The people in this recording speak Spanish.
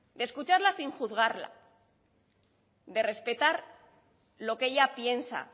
escucharla sin juzgarla de respetar lo que ella piensa